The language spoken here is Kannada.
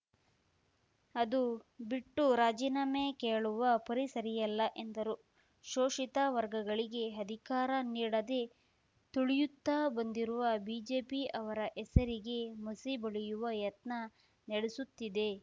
ಅದು ಬಿಟ್ಟು ರಾಜಿನಾಮೆ ಕೇಳುವ ಪರಿ ಸರಿಯಲ್ಲ ಎಂದರು ಶೋಷಿತ ವರ್ಗಗಳಿಗೆ ಅಧಿಕಾರ ನೀಡದೆ ತುಳಿಯುತ್ತ ಬಂದಿರುವ ಬಿಜೆಪಿ ಅವರ ಹೆಸರಿಗೆ ಮಸಿ ಬಳಿಯುವ ಯತ್ನ ನಡೆಸುತ್ತಿದೆ